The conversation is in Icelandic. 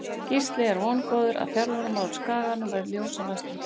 Gísli er vongóður að þjálfaramál á Skaganum verði ljós á næstunni.